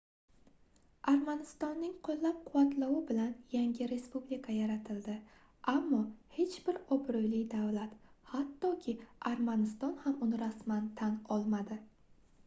armanistonning qoʻllab-quvvatlovi bilan yangi respublika yaratildi ammo hech bir obroʻli davlat hattoki armaniston ham uni rasman tan olmadi